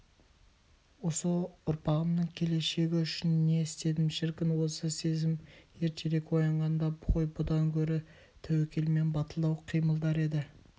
осы ұрпағымның келешегі үшін не істедім шіркін осы сезім ертерек оянғанда ғой бұдан гөрі тәуекелмен батылдау қимылдар еді